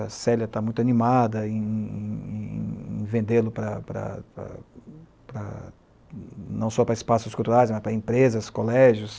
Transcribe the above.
A Célia está muito animada em vendê-lo para, para, para não só para espaços culturais, mas para empresas, colégios.